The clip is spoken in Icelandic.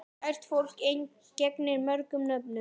Kært fólk gegnir mörgum nöfnum.